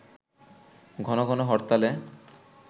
ঘন ঘন হরতালে